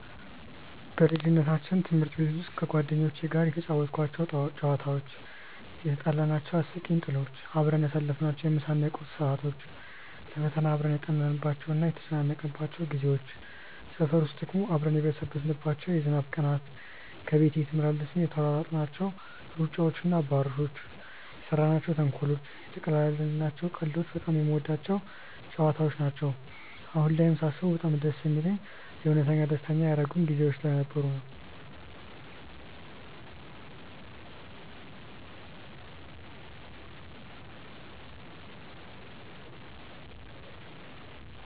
በልጅነታችን ትምህርት ቤት ውስጥ ከጓደኞቼ ጋር የተጫወትኳቸው ጨዋታዎች፣ የትጣላናቸው አስቂኝ ጥሎች፣ አብረን ያሳለፍናቸውን የምሳ እና የቁርስ ሰዓቶች፣ ለፈተና አብረን ያጠናንባቸው እና የተጨነቅንባቸው ጊዜዎች፣ ሰፈር ውስጥ ደግሞ አብረን የበሰበስንባቸው የዝናብ ቀናት፣ ከቤት ቤት እየተመላለስን የተሯሯጥናቸው ሩጫዎች እና አባሮሾች፣ የሰራናቸው ተንኮሎች፣ የተቀላለድናቸው ቀልዶች በጣም የምወዳቸው ጨዋታዎች ነው። አሁን ላይም ሳስበው በጣም ደስ የሚለኝ የእውነት ደስተኛ ያደረጉኝ ጊዜዎች ስለነበሩ ነው።